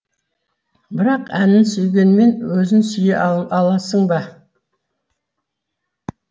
бірақ әнін сүйгенмен өзін сүйе аласың ба